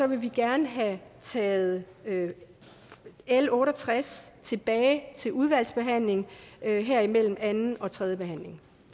vi gerne have taget l otte og tres tilbage til udvalgsbehandling her her imellem anden og tredje behandling